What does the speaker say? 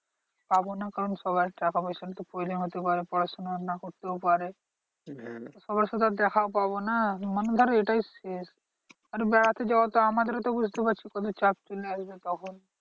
পাবনা কারণ সবার টাকা পয়সার তো problem হতে পারে পড়াশোনা না করতেও পারে। সবার সাথে আর দেখা পাবো না মানে ধর এটাই শেষ। বেড়াতে যাওয়া তো আমাদেরও তো বুঝতে পারছিস কত চাপ ছিল একদিন তখন।